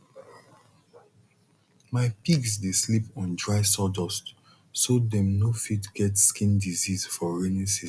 my pigs dey sleep on dry sawdust so dem no fit get skin disease for rainy season